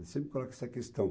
Ele sempre coloca essa questão.